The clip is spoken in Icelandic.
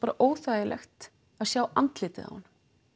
óþægilegt að sjá andlitið á honum